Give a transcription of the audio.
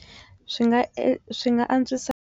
Swi nga e swi nga antswisa.